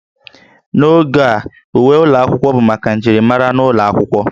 N'oge a, uwe ụlọ akwụkwọ bụ maka njirimara n'ụlọ akwụkwọ